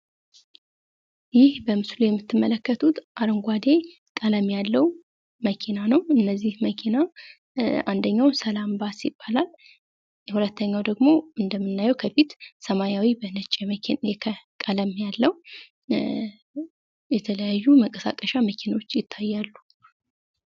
ይህ በምስሉ የምትመለከቱት አረንጓዴ ቀለም ያለዉ መኪና ነዉ። እነዚህ መኪና አንደኛዉ ሰላም ባስ ይባላል። ሁለተኛዉ ደግሞ ከፊት ያለዉ እንደምናየዉ ሰማያዊ በነጭ ቀለም ያለዉ የተለያዩ መንቀሳቀሻ መኪኖች ይታያሉ።